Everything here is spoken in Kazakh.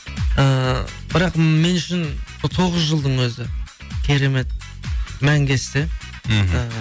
ііі бірақ мен үшін тоғыз жылдың өзі керемет мәңгі есте мхм